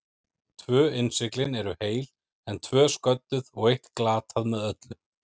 Tvö innsiglin eru heil, en tvö sködduð og eitt glatað með öllu.